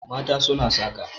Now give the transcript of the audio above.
mata suna saka